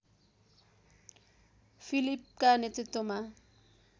फिलिपका नेतृत्वमा